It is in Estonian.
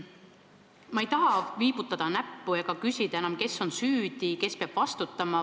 Ma ei taha viibutada näppu ega küsida, kes on süüdi, kes peab vastutama.